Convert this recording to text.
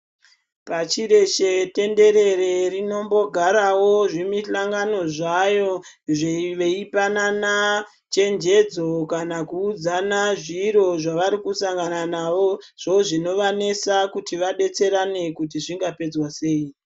Pashi reshe tenderere rinombogarawo zvimuhlangano zvayo veipanana chenjedzo kana kuudzana zviro zvavari kusangana nazvo zvinovanesa kuti vadetserane kuti zvingapedzwa sei.